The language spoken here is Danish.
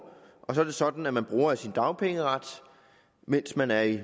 og så er det sådan at man bruger af sin dagpengeret mens man er i